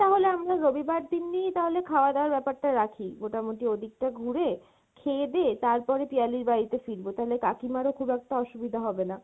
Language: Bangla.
তাহলে আমরা রবিবার দিনই তাহলে খাওয়া দাওয়ার ব্যাপার টা রাখি, মোটামোটি ওদিক টা ঘুড়ে, খেয়ে দেয়ে তারপরে পিয়ালির বাড়িতে ফিরবো তালে কাকিমারও খুব একটা অসুবিধা হবে না।